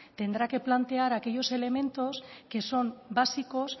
tendrá que plantear aquellos elementos que son básicos